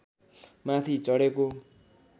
माथि चढेको